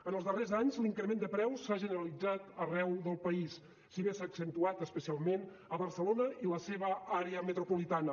en els darrers anys l’increment de preus s’ha generalitzat arreu del país si bé s’ha accentuat especialment a barcelona i la seva àrea metropolitana